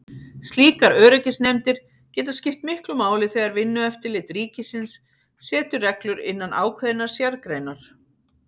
Slíkar öryggisnefndir geta skipt miklu máli þegar Vinnueftirlit ríkisins setur reglur innan ákveðinnar sérgreinar.